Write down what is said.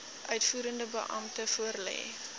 uitvoerende beampte voorlê